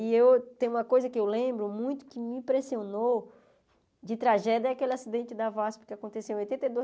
E tem uma coisa que eu lembro muito, que me impressionou, de tragédia, é aquele acidente da vasp que aconteceu em oitenta e